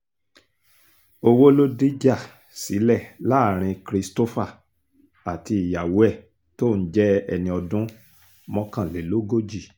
owó ló dìjà sílẹ̀ láàrin christopher àti ìyàwó ẹ̀ tóun jẹ́ ẹni ọdún mọ́kànlélógójì